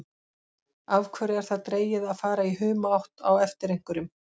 Af hverju er það dregið að fara í humátt á eftir einhverjum?